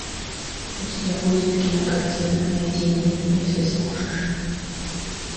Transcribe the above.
у тебя будет кинокартина найди меня если сможешь